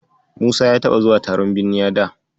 Musa ya taɓa zuwa taron binniya da.